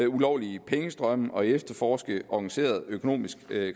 ulovlige pengestrømme og efterforske organiseret økonomisk